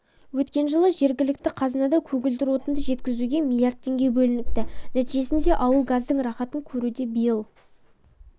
өткен жылы жергілікті қазынадан көгілдір отынды жеткізуге млрд теңге бөлініпті нәтижесінде ауыл газдың рахатын көруде биыл